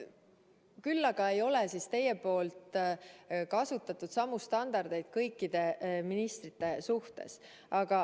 Küll aga ei ole teie kasutanud samu standardeid kõikide ministrite suhtes.